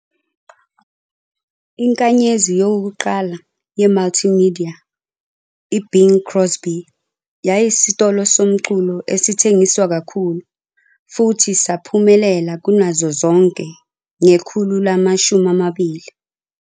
Inkanyezi yokuqala yemultimedia, i-Bing Crosby yayiyisitolo somculo esithengiswa kakhulu futhi saphumelela kunazo zonke ngekhulu lama-20.